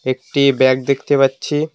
একটি ব্যাগ দেখতে পাচ্ছি।